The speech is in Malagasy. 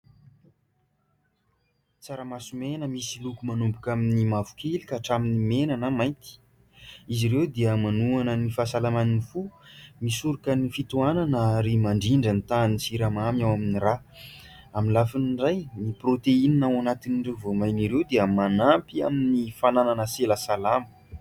Tsaramaso mena misy loko manomboka amin'ny mavokely ka hatramin'ny mena na mainty, izy ireo dia manoana ny fahasalaman'ny fo, misoroka ny fitohanana ary, mandrindra ny tahan'ny siramamy ao amin'ny rà. Amin'ny lafiny iray, ny prôtehinina ao anatin'ireo voamaina ireo dia manampy amin'ny fananana sela salama.